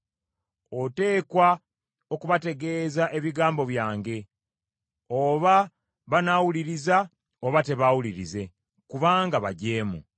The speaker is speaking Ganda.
Oteekwa okubategeeza ebigambo byange, oba banaawuliriza oba tebaawulirize, kubanga bajeemu.